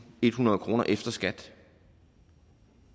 og ethundrede kroner efter skat